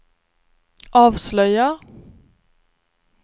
avslöjar